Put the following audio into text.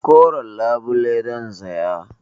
Koren labule zan saya.